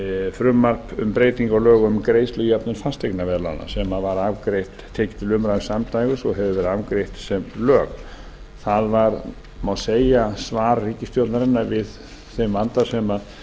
frumvarp um breytingu á lögum um greiðslujöfnun fasteignaveðlána sem var tekið til umræðu samdægurs og hefur verið afgreitt sem lög það má segja að svar ríkisstjórnarinnar við þeim vanda sem sem